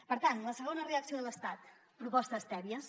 per tant la segona reacció de l’estat propostes tèbies